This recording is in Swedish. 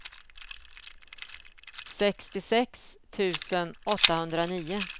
sextiosex tusen åttahundranio